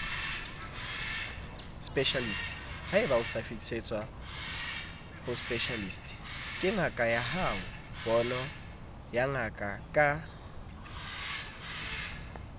specialist haebaosafetisetswaho specialist kengakayahao ponoyangakaya